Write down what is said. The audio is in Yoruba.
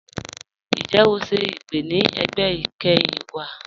Ǹjẹ́ o ṣẹ̀ ipè̀ ni ẹgbẹ́ ikẹ́hin wa?